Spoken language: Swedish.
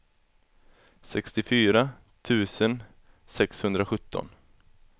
sextiofyra tusen sexhundrasjutton